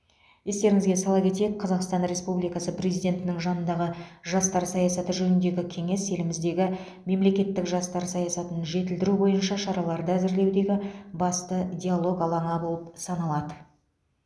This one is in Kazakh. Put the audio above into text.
естеріңізге сала кетейік қазақстан республикасы президентінің жанындағы жастар саясаты жөніндегі кеңес еліміздегі мемлекеттік жастар саясатын жетілдіру бойынша шараларды әзірлеудегі басты диалог алаңы болып саналады